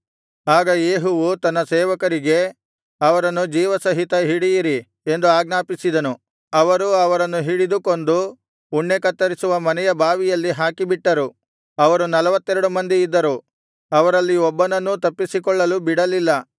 ಆಗ ಯೇಹುವು ತನ್ನ ಸೇವಕರಿಗೆ ಅವರನ್ನು ಜೀವಸಹಿತ ಹಿಡಿಯಿರಿ ಎಂದು ಆಜ್ಞಾಪಿಸಿದನು ಅವರು ಅವರನ್ನು ಹಿಡಿದು ಕೊಂದು ಉಣ್ಣೆ ಕತ್ತರಿಸುವ ಮನೆಯ ಬಾವಿಯಲ್ಲಿ ಹಾಕಿಬಿಟ್ಟರು ಅವರು ನಲ್ವತ್ತೆರಡು ಮಂದಿ ಇದ್ದರು ಅವರಲ್ಲಿ ಒಬ್ಬನನ್ನೂ ತಪ್ಪಿಸಿಕೊಳ್ಳಲು ಬಿಡಲಿಲ್ಲ